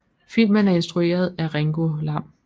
Filmen er instrueret af Ringo Lam